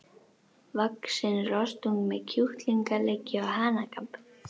vaxinn rostung með kjúklingaleggi og hanakamb.